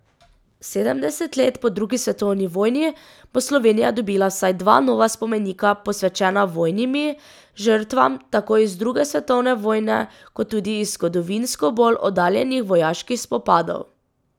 Sedemdeset let po drugi svetovni vojni bo Slovenija dobila vsaj dva nova spomenika posvečena vojnimi žrtvam, tako iz druge svetovne vojne, kot tudi iz zgodovinsko bolj oddaljenih vojaških spopadov.